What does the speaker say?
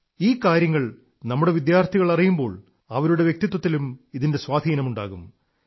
ഈ കാര്യങ്ങൾ നമ്മുടെ വിദ്യാർഥികൾ അറിയുമ്പോൾ അവരുടെ വ്യക്തിത്വത്തിലും ഇതിന്റെ സ്വാധീനമുണ്ടാകും